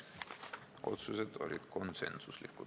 Otsused olid konsensuslikud.